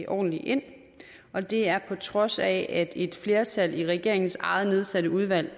ordentligt ind og det er på trods af at et flertal i regeringens eget nedsatte udvalg